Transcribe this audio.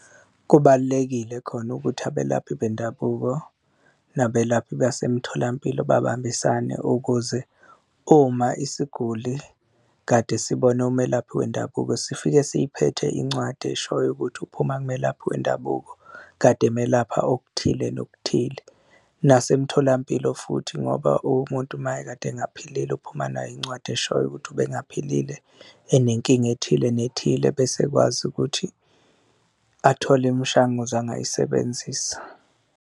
Kubalulekile khona ukuthi abelaphi bendabuko nabelaphi basemtholampilo babambisane ukuze uma isiguli kade sibone umelaphi wendabuko sifike siphethe incwadi eshoyo ukuthi uphuma kumelaphi wendabuko kade emelapha okuthile, nokuthile, nasemtholampilo futhi ngoba umuntu mayekade engaphilile uphuma nayo incwadi eshoyo ukuthi ubengaphilile enenkinga ethile nethile bese ekwazi ukuthi athole imishanguzo angayisebenzisa.